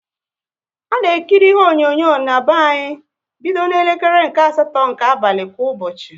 A na-ekiri ihe onyonyo na-be anyị bido na elekere nke asatọ nke abalị kwa ụbọchị